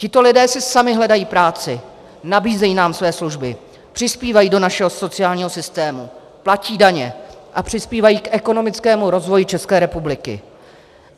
Tito lidé si sami hledají práci, nabízejí nám své služby, přispívají do našeho sociálního systému, platí daně a přispívají k ekonomickému rozvoji České republiky.